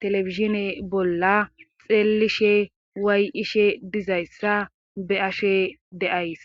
telefizshine bolla xeelishe waay7ishe dizayssa be ashe deays